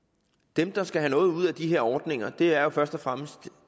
dem der skal have noget ud af de her ordninger er jo først og fremmest